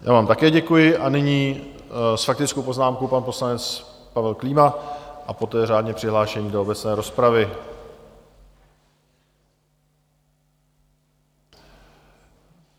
Já vám také děkuji a nyní s faktickou poznámkou pan poslanec Pavel Klíma a poté řádně přihlášení do obecné rozpravy.